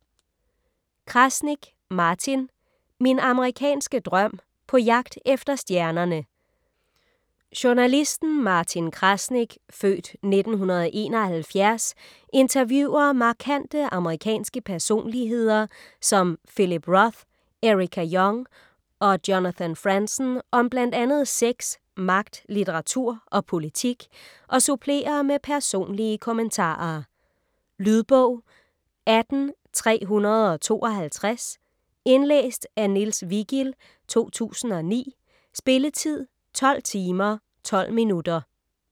Krasnik, Martin: Min amerikanske drøm: på jagt efter stjernerne Journalisten Martin Krasnik ( f. 1971) interviewer markante amerikanske personligheder som Philip Roth, Erica Jong og Jonathan Franzen om bl.a. sex, magt, litteratur og politik og supplerer med personlige kommentarer. Lydbog 18352 Indlæst af Niels Vigild, 2009. Spilletid: 12 timer, 12 minutter.